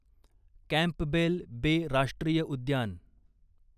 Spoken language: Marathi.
कॅम्पबेल बे राष्ट्रीय उद्यान